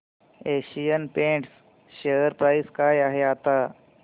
Asian Paints share price काय आहे आता